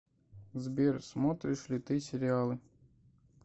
сбер смотришь ли ты сериалы